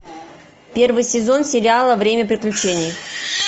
первый сезон сериала время приключений